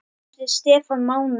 Eftir Stefán Mána.